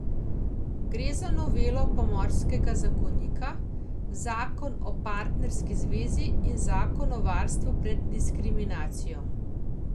Gre za novelo pomorskega zakonika, zakon o partnerski zvezi in zakon o varstvu pred diskriminacijo.